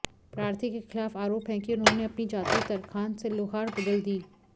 प्रार्थी के खिलाफ आरोप हैं कि उन्होंने अपनी जाति तरखान से लोहार बदल दी